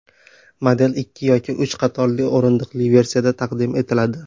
Model ikki yoki uch qatorli o‘rindiqli versiyada taqdim etiladi.